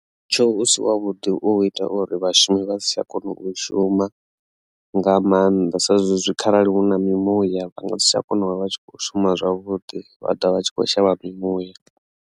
Mutsho u si wa vhuḓi u ita uri vhashumi vha si tsha kona u shuma nga maanḓa sa zwezwi kharali hu na mimuya vha nga si tsha kona u vha vha tshi kho shuma zwavhuḓi vha ḓovha vha tshi kho shavha mimuya.